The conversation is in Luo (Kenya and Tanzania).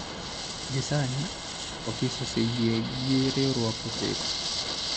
Gie sani, Ofis oseyie gi riwruoge ochiko.